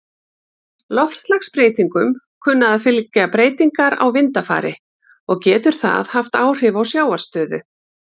Loftslagsbreytingum kunna að fylgja breytingar á vindafari, og getur það haft áhrif á sjávarstöðu.